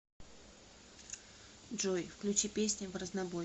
джой включи песни в разнобой